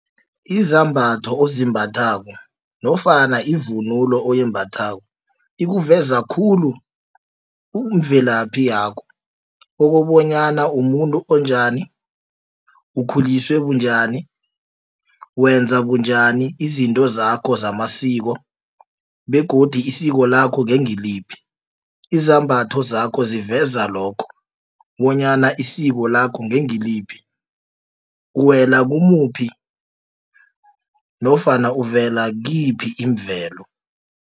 Izambatho ozimbathako nofana ivunulo oyimbathwako ikuveza khulu ubumvelaphi yakho okobanyana umuntu onjani ukhuliswe bunjani wenza bunjani izinto zakho zamasiko begodi isiko lakho ngengiliphi. Izambatho zakho ziveza lokho bonyana isiko lakho ngengiliphi uwela kumuphi nofana uvela kiyiphi imvelo.